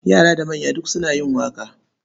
Yara da manya duk suna yin waƙa.